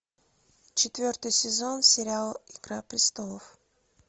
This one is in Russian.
четвертый сезон сериал игра престолов